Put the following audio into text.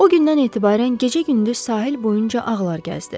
O gündən etibarən gecə-gündüz sahil boyunca ağlar gəzdi.